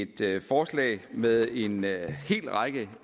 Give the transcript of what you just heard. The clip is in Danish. det er et forslag med en hel række